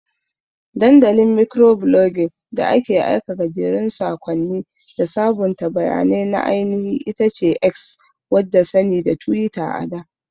Dandalin Mikroblogging da ake aika gajerun sakonni da sabunta bayanai na ainihi itace X wadda sani da Twitter ada.